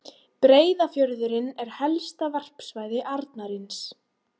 Breiðafjörðurinn er helsta varpsvæði arnarins.